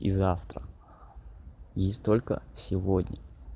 и завтра есть только сегодня